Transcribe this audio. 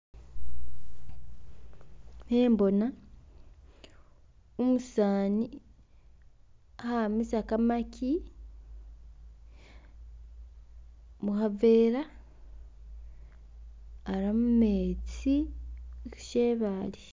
Khembona umusani kha'amisa kamaki mukhavera aramumetsi shebale.